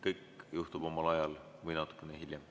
Kõik juhtub omal ajal või natuke hiljem.